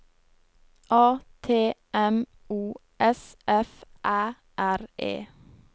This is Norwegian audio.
A T M O S F Æ R E